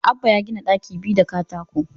Abbah ya gina ɗaki biyu da katako